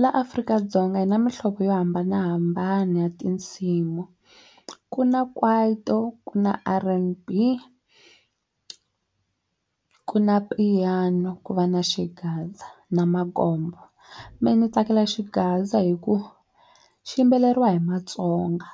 Laha Afrika-Dzonga hi na muhlovo yo hambanahambana ya tinsimu ku na Kwaito ku na R_N_B ku na Piano ku va na Xigaza na mehe ni tsakela Xigaza hi ku xi yimbeleriwa hi Matsonga